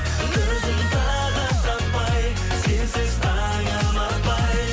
көзім тағыт таппай сенсіз таңым атпай